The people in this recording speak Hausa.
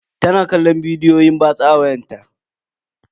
Tana kallon bidiyon batsa ne a kan wayarta.